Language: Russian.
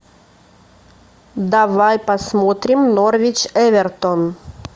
давай посмотрим норвич эвертон